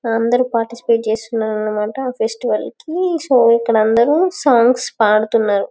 అందరూ పార్టిసిపేట్ చేస్తున్నారనిమాట ఫెస్టివల్ కి సో ఇక్కడందరూ సాంగ్స్ పాడుతున్నారు.